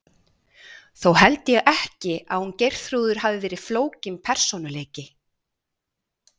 Þó held ég ekki að hún Geirþrúður hafi verið flókinn persónuleiki.